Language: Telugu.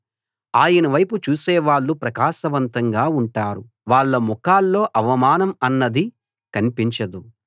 ఆయన వైపు చూసే వాళ్ళు ప్రకాశవంతంగా ఉంటారు వాళ్ళ ముఖాల్లో అవమానం అన్నది కన్పించదు